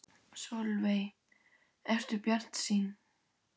Sólveig: Ertu bjartsýnn?